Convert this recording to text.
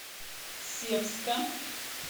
севска